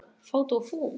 Fát og fum